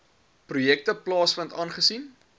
projekte plaasvind aangesien